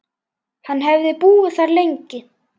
Hann hefði búið þar lengi.